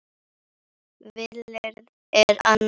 Vilyrði er annað mál.